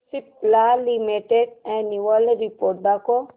Cipla limited annual report दाखव